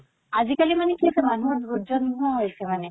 আজি কালি মানে কি হৈছে মানুহৰ ধৰ্য্য নোহোৱা হৈছে মানে